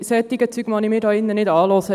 Solche Dinge mag ich mir hier nicht anhören.